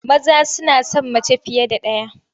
Maza suna son mace fiye da ɗaya.